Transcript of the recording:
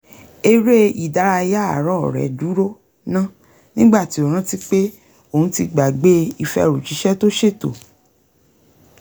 eré ìdárayá àárọ̀ rẹ̀ dúró ná nígbà tí ó rántí pé òun ti gbàgbé ìfẹrùjíṣẹ́ tó ṣètò